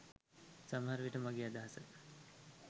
සමහර විට මගෙ අදහස